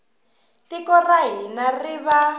tiko ra hina ri va